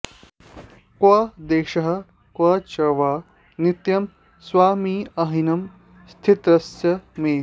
क्व देशः क्व च वा नित्यं स्वमहिम्नि स्थितस्य मे